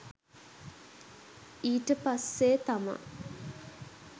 ඊට පස්සේ තමා